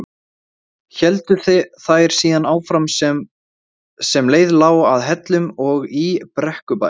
Héldu þær síðan áfram sem leið lá að Hellnum og í Brekkubæ.